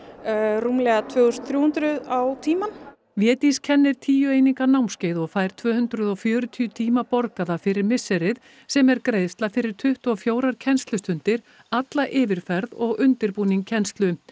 rúmlega tvö þúsund og þrjú hundruð á tímann Védís kennir tíu eininga námskeið og fær tvö hundruð og fjörutíu tíma borgaða fyrir misserið sem er greiðsla fyrir tuttugu og fjórar kennslustundir alla yfirferð og undirbúning kennslu